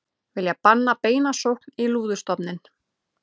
Vilja banna beina sókn í lúðustofninn